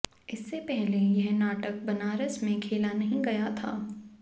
इससे पहले यह नाटक बनारस में खेला नहीं गया था